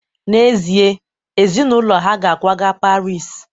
N'ezie, ezinụlọ ha ga-akwaga Paris